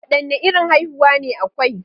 Wadanne irin haihuwa ne akwai?